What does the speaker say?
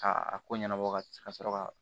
Ka a ko ɲɛnabɔ ka sɔrɔ ka